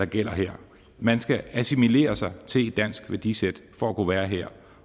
gælder her man skal assimilere sig til et dansk værdisæt for at kunne være her